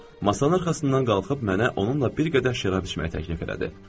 Masanın arxasından qalxıb mənə onunla bir qədər şərab içməyi təklif elədi.